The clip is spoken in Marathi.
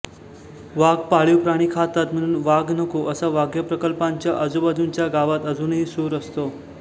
वाघ पाळिव प्राणी खातात म्हणून वाघ नको असा व्याघ्रप्रकल्पांच्या अजूबाजूच्या गावात अजूनही सूर असतो